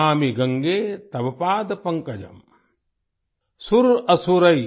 नमामि गंगे तव पाद पंकजं